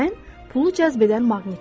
Mən pulu cəzb edən maqnitəm.